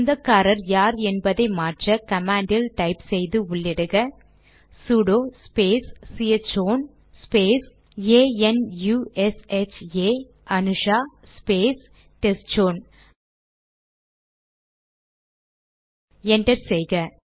சொந்தக்காரர் யார் என்பதை மாற்ற கமாண்டில் டைப் செய்து உள்ளிடுக sudo space C H own space A N U S H A Anusha space test chown அதாவது T E S T C H O W N enter செய்க